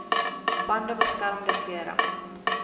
bande beskermende klere